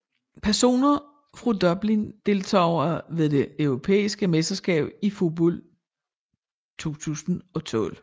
Personer fra Dublin Deltagere ved det europæiske mesterskab i fodbold 2012